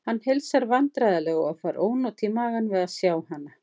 Hann heilsar vandræðalega og fær ónot í magann við að sjá hana.